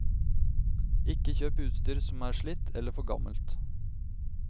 Ikke kjøp utstyr som er slitt, eller for gammelt.